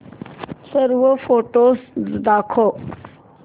सर्व फोटोझ दाखव